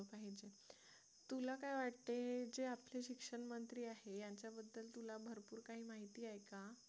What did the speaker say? तुला काय वाटते जे आपले शिक्षण मंत्री आहेत त्यांच्याबद्दल तुला भरपूर काही माहिती आहे का